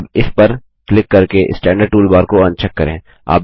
अब इस पर क्लिक करके स्टैंडर्ड टूलबार को अनचेक करें